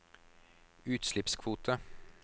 utslippskvoter